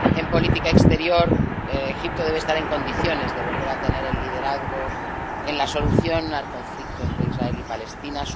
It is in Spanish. En política exterior, Egipto debe estar en condiciones de volver a tener el liderazgo en la solución al conflicto entre Israel y Palestina.